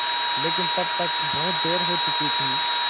लेकिन तब तक बहुत देर हो चुकी थी